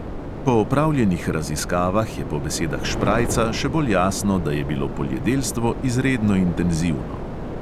Po opravljenih raziskavah je po besedah šprajca še bolj jasno, da je bilo poljedelstvo izredno intenzivno.